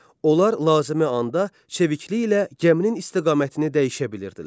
Onlar lazımi anda çevikliklə gəminin istiqamətini dəyişə bilirdilər.